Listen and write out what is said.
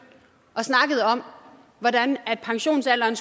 og snakkede om hvordan pensionsalderen